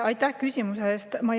Aitäh küsimuse eest!